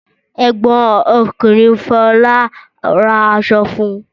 Ẹ̀gbọ́n ọkùnrin Fọlá ra aṣọ fún?